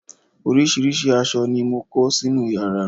oríṣiríṣi aṣọ ni mo kó sínú yàrá